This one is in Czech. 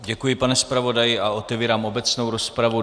Děkuji, pane zpravodaji a otevírám obecnou rozpravu.